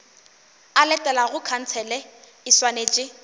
e latelago khansele e swanetše